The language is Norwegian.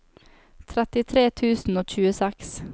trettitre tusen og tjueseks